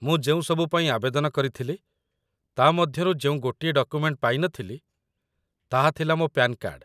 ମୁଁ ଯେଉଁସବୁ ପାଇଁ ଆବେଦନ କରିଥିଲି, ତା' ମଧ୍ୟରୁ ଯେଉଁ ଗୋଟିଏ ଡକୁମେଣ୍ଟ ପାଇନଥିଲି, ତାହା ଥିଲା ମୋ ପ୍ୟାନ୍ କାର୍ଡ଼